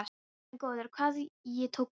Guð minn góður, hvað ég tók út.